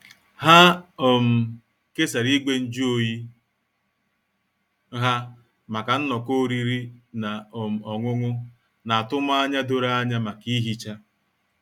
Ha um kesara igwe nju oyi ha maka nnọkọ oriri na um ọṅụṅụ, na atụmanya doro anya maka ihicha.